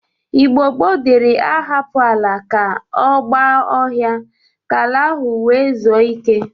Igbo gboo dịri ahapụ ala ka ọ gba ọhịa ka ala ahụ nwee zue ike.